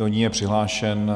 Do ní je přihlášen